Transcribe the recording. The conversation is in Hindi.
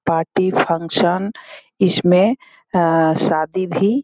पार्टी फंक्शन इसमें शादी भी --